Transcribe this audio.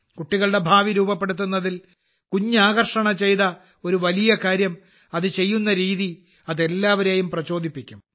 കുട്ടികളുടെ ഭാവി രൂപപ്പെടുത്തുന്നതിൽ കുഞ്ഞ് ആകർഷണ ചെയ്ത ഒരു വലിയ കാര്യം അത് ചെയ്യുന്ന രീതി അത് എല്ലാവരെയും പ്രചോദിപ്പിക്കും